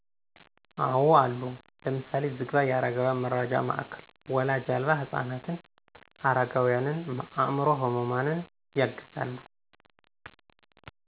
አወ አሉ። ለምሳሌ፦ ዝግባ የአረጋውያን መርጃ ማዕከል ወላጅ አልባ ህፃናትን፣ አረጋውያንን፣ አምዕሮ ህሙማንን ያግዛሉ።